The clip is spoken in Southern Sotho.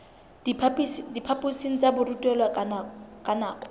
diphaphosing tsa borutelo ka nako